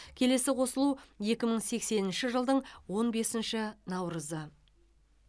келесі қосылу екі мың сексенінші жылдың он бесінші наурызы